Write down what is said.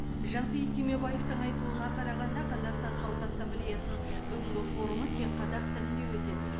жансейіт түймебаевтың айтуына қарағанда қазақстан халқы ассамблеясының бүгінгі форумы тек қазақ тілінде өтеді